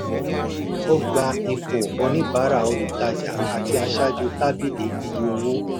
ó gba ipò oníbàárà olùtajà àti aṣáájú tábìlì iye owó.